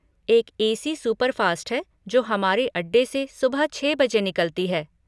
एक A C superfast है जो हमारे अड्डे से सुबह छः बजे निकलती है।